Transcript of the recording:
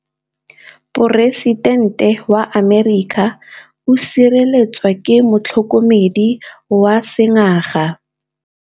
Poresitêntê wa Amerika o sireletswa ke motlhokomedi wa sengaga.